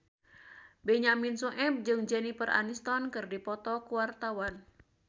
Benyamin Sueb jeung Jennifer Aniston keur dipoto ku wartawan